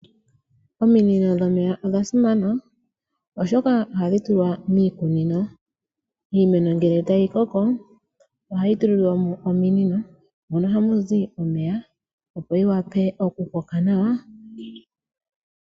Ominino dhomeya odha simana oshoka ohadhi tulwa miikunino. Iimeno ngele tayi koko ohayi tulilwa mo ominino mono hamu zi omeya opo yi wape okukoka nawa.